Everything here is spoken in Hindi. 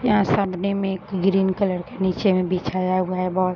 यहाँ सामने में एक ग्रीन कलर नीचे में बिछाया हुआ है। बहोत --